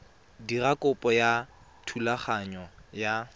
dira kopo ya thulaganyo ya